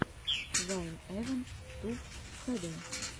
вайн эван туб хэ дэ